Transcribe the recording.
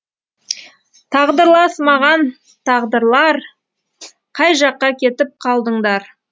тағдырлас маған тағдырлар қай жаққа кетіп қалдыңдар